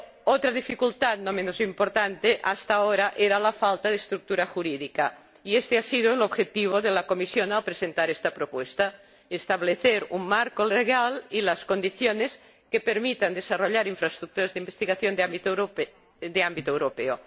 Otra dificultad, no menos importante, hasta ahora, era la falta de estructura jurídica. Y éste ha sido el objetivo de la Comisión al presentar esta propuesta establecer un marco jurídico y las condiciones que permitan desarrollar infraestructuras de investigación de ámbito europeo.